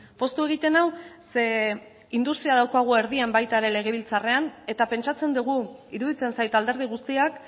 poztu egiten nau zeren eta industria daukagu erdian baita legebiltzarrean ere eta pentsatzen dugu iruditzen zait alderdi guztiak